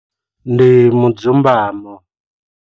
Ndi mudzumbamo.